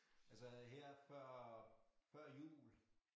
Altså her før før jul